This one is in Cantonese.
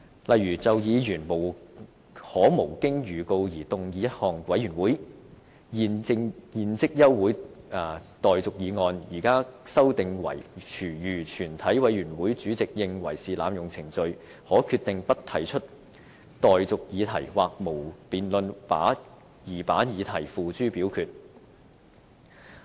例如就議員可無經預告動議一項委員會現即休會待續議案，現在卻修訂為如全體委員會主席認為是濫用程序，可決定不提出待議議題或無經辯論而把議題付諸表決。